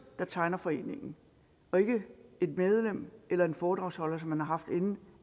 der tegner foreningen og ikke et medlem eller en foredragsholder som man har haft inde